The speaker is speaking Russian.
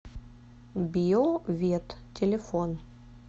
био вет телефон